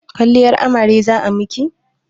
Kwalliyar amare za a miki?